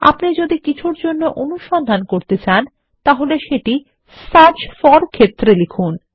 আপনি যদি কিছুর জন্য অনুসন্ধান করতে চান সেটি সার্চ ফোর ক্ষেত্রে লিখুন